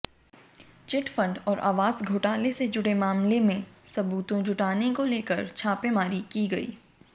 chit fund और आवास घोटाले से जुड़े मामले में सबूतों जुटाने को लेकर छापेमारी की गई